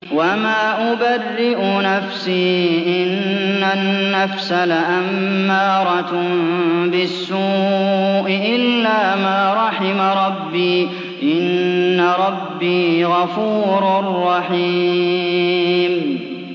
۞ وَمَا أُبَرِّئُ نَفْسِي ۚ إِنَّ النَّفْسَ لَأَمَّارَةٌ بِالسُّوءِ إِلَّا مَا رَحِمَ رَبِّي ۚ إِنَّ رَبِّي غَفُورٌ رَّحِيمٌ